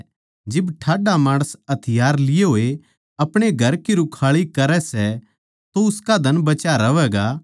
जिब ठाड्डा माणस राछ लिये होए अपणे घर की रुखाळी करै सै तो उसका धन बचा रहवैगा